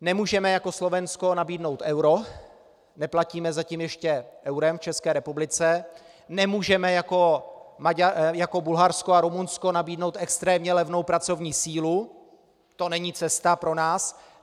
Nemůžeme jako Slovensko nabídnout euro, neplatíme zatím ještě eurem v České republice, nemůžeme jako Bulharsko a Rumunsko nabídnout extrémně levnou pracovní sílu, to není cesta pro nás.